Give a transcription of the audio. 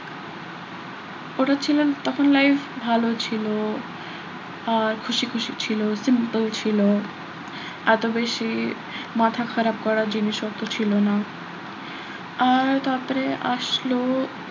ওটা ছিল তখন life ভালো ছিল আহ খুশি খুশি ছিল ছিল এত বেশি মাথা খারাপ করার জিনিস অত ছিল না আর তারপরে আসলো,